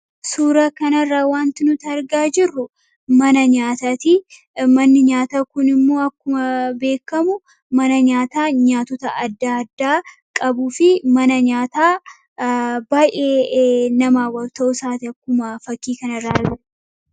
Suuraa kanarraa wanti nuti argaa jirru mana nyaataa ti. Manni nyaataa kun immoo akkuma beekkamu mana nyaataa nyaatota adda addaa qabuu fi mana nyaataa nama baay'ee hawwatu ta'uusaati akkuma fakkii kanarraa arginu.